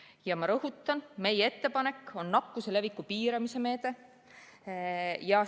Ja ma rõhutan, et meie ettepanek on nakkuse leviku piiramise meede.